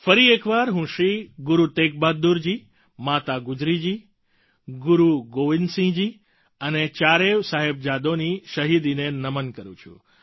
ફરી એકવાર હું શ્રી ગુરુ તેગ બહાદુર જી માતા ગુજરી જી ગુરુ ગોવિંદ સિંહજી અને ચારેય સાહેબજાદોની શહિદીને નમન કરું છું